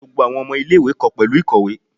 Gbogbo awọn ọmọ ile-iwe kọ pẹlu ikowe.